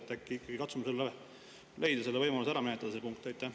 Äkki ikkagi katsume leida võimaluse see punkt ära menetleda?